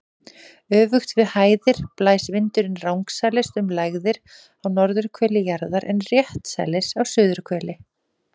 Öfugt við hæðir blæs vindurinn rangsælis um lægðir á norðurhveli jarðar en réttsælis á suðurhveli.